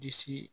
Disi